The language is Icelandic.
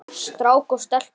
Strák og stelpu.